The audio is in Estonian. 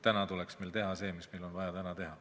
Täna tuleks meil teha seda, mida meil on täna vaja teha.